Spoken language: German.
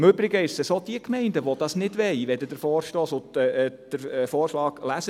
Im Übrigen ist es so, wie Sie im Vorstoss lesen können: